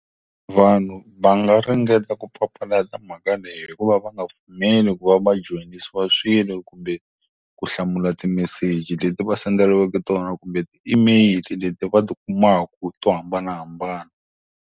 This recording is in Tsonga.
Vanhu va nga ringeta ku papalata mhaka leyi hi ku va va nga pfumeli ku va joyinisiwa swilo kumbe ku hlamula timeseji leti va senderiweke tona kumbe ti-email-i leti va ti kumaku to hambanahambana.